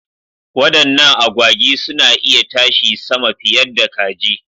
Wadannan agwagi suna iya tashi sama fiyadda kaji.